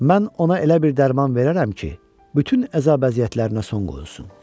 Mən ona elə bir dərman verərəm ki, bütün əzab-əziyyətlərinə son qoyulsun.